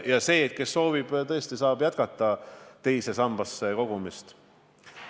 Ja see, kes soovib, saab tõesti jätkata teise sambasse kogumist.